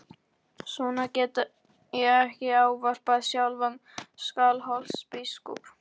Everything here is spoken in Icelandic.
Svona get ég ekki ávarpað sjálfan Skálholtsbiskup!